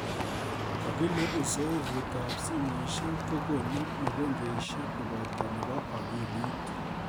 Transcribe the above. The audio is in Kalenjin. Kokile uzoefuitab simosiek ko konu mokonjwesiek koboto nebo akilit